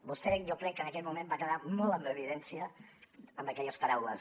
vostè jo crec que en aquell moment va quedar molt en evidència amb aquelles paraules